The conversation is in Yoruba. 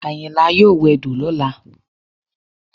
Àyìnlá yóò wẹdò lọ́la